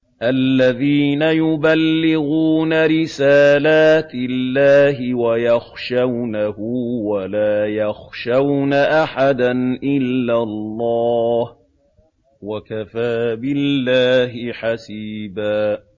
الَّذِينَ يُبَلِّغُونَ رِسَالَاتِ اللَّهِ وَيَخْشَوْنَهُ وَلَا يَخْشَوْنَ أَحَدًا إِلَّا اللَّهَ ۗ وَكَفَىٰ بِاللَّهِ حَسِيبًا